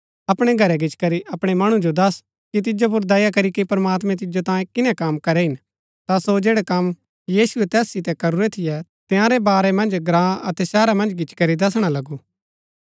अपणै घरै गिचीकरी अपणै मणु जो दस्स कि तिजो पुर दया करीके प्रमात्मैं तिजो तांये किनै कम करै हिन ता सो जैड़ै कम यीशुऐ तैस सितै करूरै थियै तंयारै वारै मन्ज ग्राँ अतै शहरा मन्ज गिच्ची करी दसणा लगु